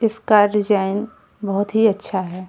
इसका डिजाइन बोहोत ही अच्छा है।